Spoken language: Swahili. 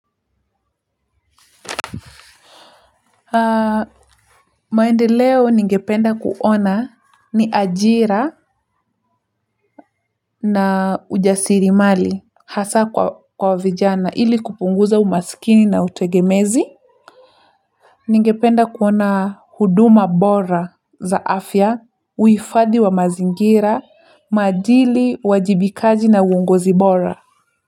Maendeleo ningependa kuona ni ajira na ujasirimali hasa kwa vijana ili kupunguza umasikini na utegemezi. Ningependa kuona huduma bora za afya, uhifadhi wa mazingira, maadili, uwajibikaji na uongozi bora.